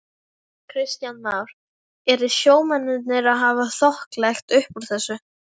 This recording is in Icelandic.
Kristján Már: Eru sjómennirnir að hafa þokkalegt uppúr þessu?